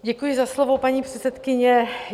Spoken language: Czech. Děkuji za slovo, paní předsedkyně.